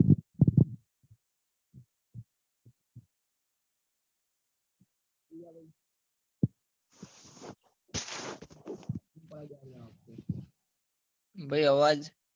ભાઈ અવાજ